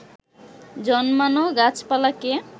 জন্মানো গাছপালাকে